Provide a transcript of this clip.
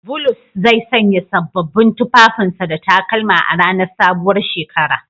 Bulus zai sanya sabbin tufafin sa da takalma a ranar sabuwar shekara.